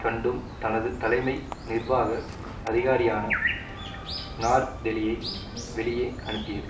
கண்டும் தனது தலைமை நிர்வாக அதிகாரியான நார் தெலியை வெளியே அனுப்பியது